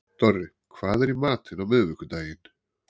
Dorri, hvað er í matinn á miðvikudaginn?